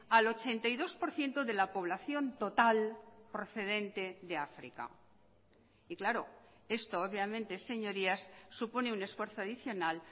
al ochenta y dos por ciento de la población total procedente de áfrica y claro esto obviamente señorías supone un esfuerzo adicional